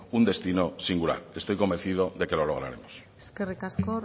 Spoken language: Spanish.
un destino singular estoy convencido de que lo lograremos eskerrik asko